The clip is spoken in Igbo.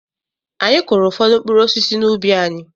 Anyị kụụrụ ụfọdụ mkpụrụ osisi n'ubi anyị.